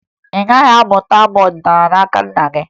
Ị gaghị amụta abụ ọdịnaala n'aka nna gị